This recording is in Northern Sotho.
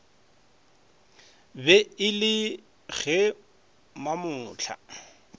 be e le ge mamohla